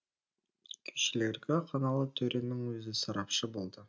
күйшілерге қаналы төренің өзі сарапшы болады